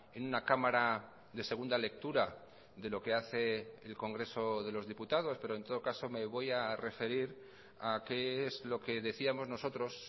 en una cámara de segunda lectura de lo que hace el congreso de los diputados pero en todo caso me voy a referir a qué es lo que decíamos nosotros